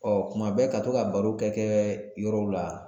Ɔ kuma bɛɛ ka to ka baro kɛ kɛ yɔrɔw la